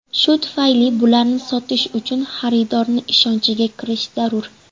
Shu tufayli bularni sotish uchun xaridorni ishonchiga kirish zarur.